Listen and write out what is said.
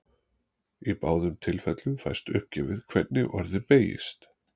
Í báðum tilfellum fæst uppgefið hvernig orðið beygist.